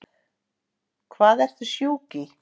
Hvað ertu sjúk í?